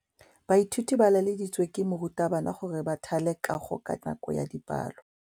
Baithuti ba laeditswe ke morutabana gore ba thale kagô ka nako ya dipalô.